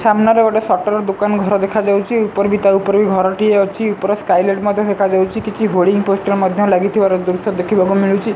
ସାମ୍ନାରେରେ ଗୋଟେ ସଟର ଦୋକାନ ଘର ଦେଖାଯାଉଛି ଉପରେ ତା ଉପରେ ବି ଘରଟିଏ ଅଛି ଉପର ସ୍କାଏ ଲାଇଟ୍ ମଧ୍ୟ ଦେଖାଯାଉଛି କିଛି ହୋଡିଂ ପୋଷ୍ଟର ମଧ୍ୟ ଲାଗି ଥିବାର ଦୃଶ୍ୟ ଦେଖିବାକୁ ମିଳୁଛି।